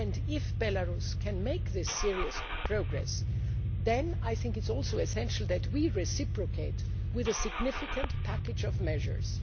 If Belarus can make this serious progress, then I think it is also essential that we reciprocate with a significant package of measures.